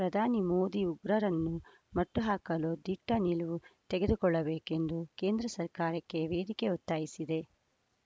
ಪ್ರಧಾನಿ ಮೋದಿ ಉಗ್ರರನ್ನು ಮಟ್ಟಹಾಕಲು ದಿಟ್ಟನಿಲುವು ತೆಗೆದುಕೊಳ್ಳಬೇಕೆಂದು ಕೇಂದ್ರಸರ್ಕಾರಕ್ಕೆ ವೇದಿಕೆ ಒತ್ತಾಯಿಸಿದೆ